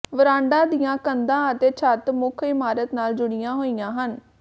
ਵਰਾਂਡਾ ਦੀਆਂ ਕੰਧਾਂ ਅਤੇ ਛੱਤ ਮੁੱਖ ਇਮਾਰਤ ਨਾਲ ਜੁੜੀਆਂ ਹੋਈਆਂ ਹਨ